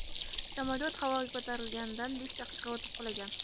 Samolyot havoga ko‘tarilganidan besh daqiqa o‘tib qulagan.